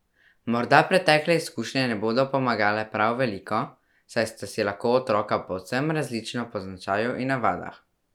Morda pretekle izkušnje ne bodo pomagale prav veliko, saj sta si lahko otroka povsem različna po značaju in navadah.